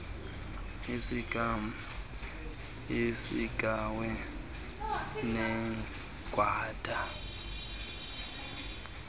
iisiga iinqawe negwada